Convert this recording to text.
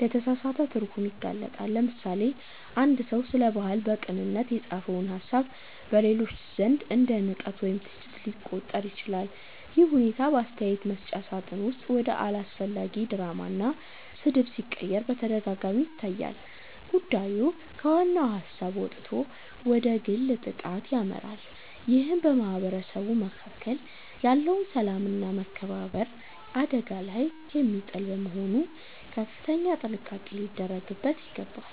ለተሳሳተ ትርጉም ይጋለጣል። ለምሳሌ፣ አንድ ሰው ስለ ባህል በቅንነት የጻፈው ሃሳብ በሌሎች ዘንድ እንደ ንቀት ወይም ትችት ሊቆጠር ይችላል። ይህ ሁኔታ በአስተያየት መስጫ ሳጥን ውስጥ ወደ አላስፈላጊ ድራማና ስድብ ሲቀየር በተደጋጋሚ ይታያል። ጉዳዩ ከዋናው ሃሳብ ወጥቶ ወደ ግል ጥቃት ያመራል ይህም በማህበረሰቡ መካከል ያለውን ሰላምና መከባበር አደጋ ላይ የሚጥል በመሆኑ ከፍተኛ ጥንቃቄ ሊደረግበት ይገባል።